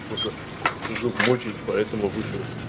просто зуб мучает поэтому вышел